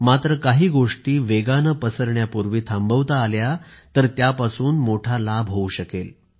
मात्र काही गोष्टी वेगाने पसरण्यापूर्वी थांबवता आल्या तर त्यापासून मोठा लाभ होऊ शकेल